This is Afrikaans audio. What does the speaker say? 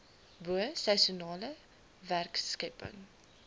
bo seisoenale werkskepping